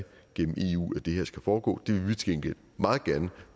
gennem eu at det her skal foregå det vil vi til gengæld meget gerne